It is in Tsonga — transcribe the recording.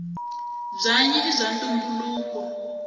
bwanyi ibwaantumbuluko